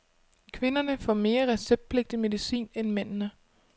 Kvinderne får mere receptpligtig medicin end mændene.